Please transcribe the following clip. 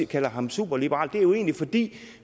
kalder ham superliberal er det jo egentlig fordi